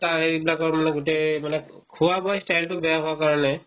সেইটোকাৰণে এইবিলাকৰ মানে গোটেই মানে খোৱা-বোৱা style তো বেয়া হোৱা কাৰণে